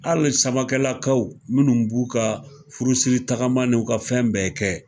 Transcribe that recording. Hali samakelakaw munnu b'u ka furusiri tagama n'u ka fɛn bɛɛ kɛ.